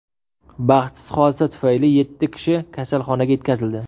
Baxtsiz hodisa tufayli yetti kishi kasalxonaga yetkazildi.